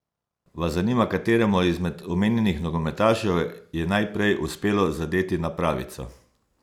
Vas zanima, kateremu izmed omenjenih nogometašev je najprej uspelo zadeti napravico?